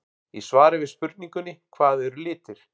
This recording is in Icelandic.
Í svari við spurningunni Hvað eru litir?